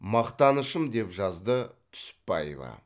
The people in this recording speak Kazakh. мақтанышым деп жазды түсіпбаева